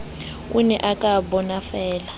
o ne o ka bonafeela